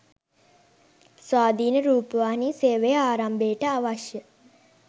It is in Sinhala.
ස්වාධීන රූපවාහි සේවය ආරම්භයට අවශ්‍ය